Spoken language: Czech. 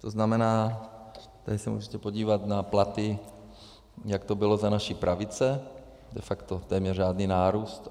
To znamená, tady se můžete podívat na platy, jak to bylo za naší pravice - de facto téměř žádný nárůst.